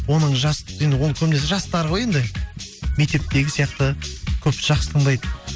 оның жас енді оны көбінесе жастар ғой енді мектептегі сияқты көпті жақсы тыңдайды